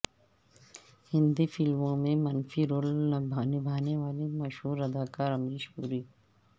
ہندی فلموں میں منفی رول نبھانے والے مشہور اداکار امریش پوری